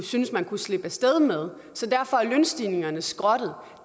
syntes man kunne slippe af sted med så derfor er lønstigningerne skrottet